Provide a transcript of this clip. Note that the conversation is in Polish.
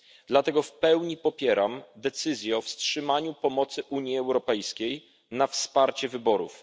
Dlatego w pełni popieram decyzję o wstrzymaniu pomocy Unii Europejskiej na wsparcie wyborów.